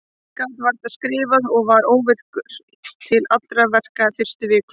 Ég gat varla skrifað og var óvirkur til allra verka fyrstu vikuna.